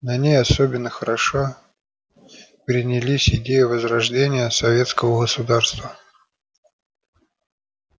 на ней особенно хорошо принялись идеи возрождения советского государства